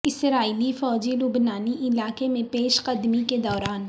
اسرائیلی فوجی لبنانی علاقے میں پیش قدمی کے دوران